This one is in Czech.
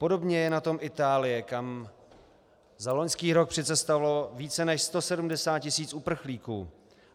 Podobně je na tom Itálie, kam za loňský rok přicestovalo více než 170 tisíc uprchlíků.